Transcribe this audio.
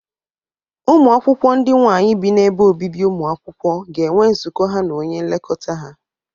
Ụmụ akwụkwọ ndị nwaanyị bi n'ebe obibi ụmụ akwụkwọ ga-enwe nzụkọ ha na onye nlekọta ha.